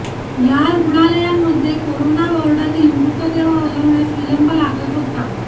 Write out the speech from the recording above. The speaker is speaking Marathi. या रुग्णालयांमध्ये कोरोना वॉर्डातील मृतदेह हलवण्यास विलंब लागत होता